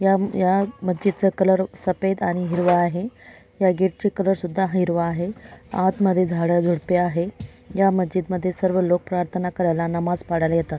या मस्जिद चा कलर सफेद आणि हिरवा आहे या गेटचा कलर सुद्धा हिरवा आहे आतमध्ये झाडं झुडपे आहे या मस्जिद मध्ये सर्व लोक प्रार्थना करायला नमाज पाडायला येतात.